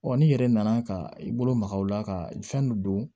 n'i yɛrɛ nana ka i bolo magaw la ka fɛn dɔ don